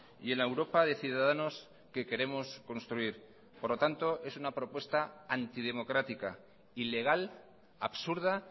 y en la europa de ciudadanos que queremos construir por lo tanto es una propuesta antidemocrática ilegal absurda